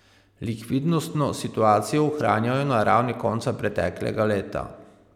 Likvidnostno situacijo ohranjajo na ravni konca preteklega leta.